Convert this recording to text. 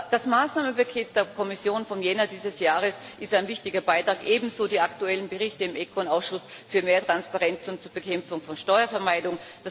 Das Maßnahmenpaket der Kommission vom Jänner dieses Jahres ist ein wichtiger Beitrag, ebenso die aktuellen Berichte im ECON Ausschuss für mehr Transparenz und zur Bekämpfung von Steuervermeidung.